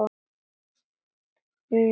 Nei, nei sagði hann.